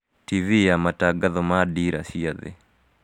Tivi ya matangatho ma dira cia thii